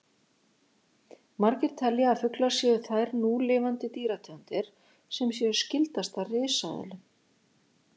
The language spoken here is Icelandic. Margir telja að fuglar séu þær núlifandi dýrategundir sem séu skyldastar risaeðlum.